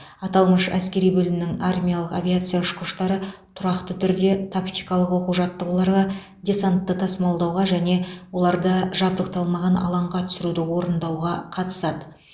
аталмыш әскери бөлімнің армиялық авиация ұшқыштары тұрақты түрде тактикалық оқу жаттығуларға десантты тасымалдауға және оларды жабдықталмаған алаңға түсіруді орындауға қатысады